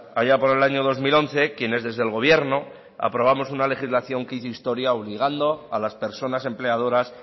allá por el año dos mil once quienes desde el gobierno aprobamos una legislación que hizo historia obligando a las personas empleadoras